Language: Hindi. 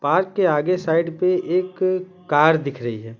पार्क के आगे साइड पे एक कार दिख रही है।